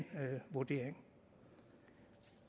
vurdering